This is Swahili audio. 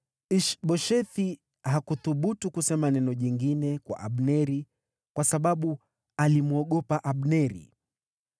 Ish-Boshethi hakuthubutu kusema neno jingine kwa Abneri, kwa sababu alimwogopa Abneri.